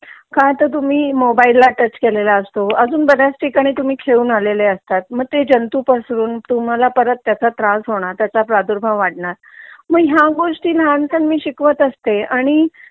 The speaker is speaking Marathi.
का तर तुम्ही मोबाइल ला टच केलेलं असतो अजून बऱ्याच ठिकाणी तुम्ही खेळून आलेले असतात मग ते जंतु पसरून तुम्हाला परत त्याचा त्रास होणार त्याचा प्रादुर्भाव होणार मग ह्या गोष्टी लहान सहन मी शिकवत असते आणि